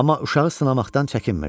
Amma uşağı sınamaqdan çəkinmirdi.